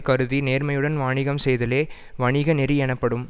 கருதி நேர்மையுடன் வாணிகம் செய்தலே வணிக நெறியெனப்படும்